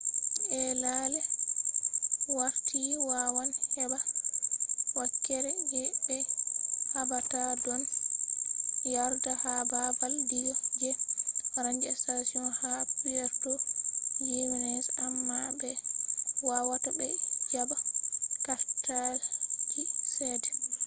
ai lallai warti wawan heɓɓa wakere je be haɓata ɗon yarda ha baabal diga je ranger station ha puerto jimenez amma be wawata ɓe jaɓɓa kartalji ceede